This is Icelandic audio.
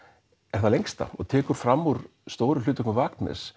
er það lengsta og tekur fram úr stóru hlutverkum